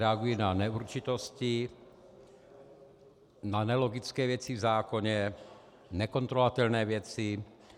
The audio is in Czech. Reagují na neurčitosti, na nelogické věci v zákoně, nekontrolovatelné věci.